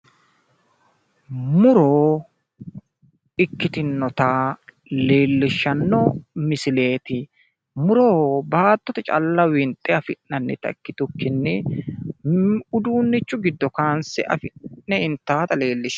muro ikkitinota leellishshanno misileeti muro baattote calla winxe afi'nanita ikkitukkinni uduunnichu giddono dandiinannita leelishanno.